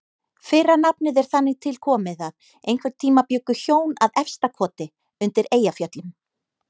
Fyrra nafnið er þannig tilkomið að einhvern tíma bjuggu hjón að Efstakoti undir Eyjafjöllum.